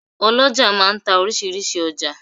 oloja máà ń ta orísirísi ọjà.